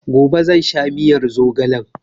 Gobe zan sha miyar zogalen